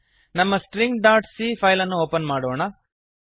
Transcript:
ನಮ್ಮ stringcಸ್ಟ್ರಿಂಗ್ dot C file ಅನ್ನು ಒಪನ್ ಮಾಡೋಣ